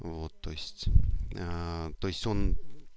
вот то есть то есть он